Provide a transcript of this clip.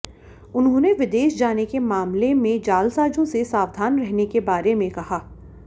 उन्होंने विदेश जाने के मामले में जालसाजों से सावधान रहने के बारे में कहा